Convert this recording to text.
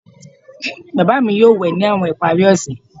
Baba mi yoo we ni awọn ipari ose